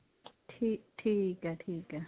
ਠੀਕ ਏ ਠੀਕ ਏ